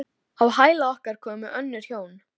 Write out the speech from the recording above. Kvaðst hann hafa varið heilu síðdegi til að semja það.